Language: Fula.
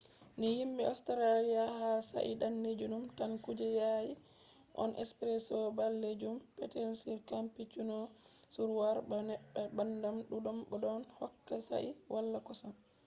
ni yimɓe australia hala shayi danejum tan kuje yaasi on. ɓalejum petel espresso on cappucino ɗon wara be neebbam ɗuɗɗum bo ɗon hokka shayi wala kosam